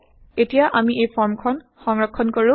160এতিয়া আমি এই ফৰ্ম খন সংৰক্ষন160কৰো